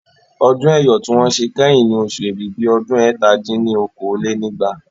Ọdún Ẹ́yọ̀ tí wọ́n ṣe kẹ́yìn ní oṣù Èbìbì ọdún ẹ̀ta dín ní okòó-lé-ní-ẹgbàá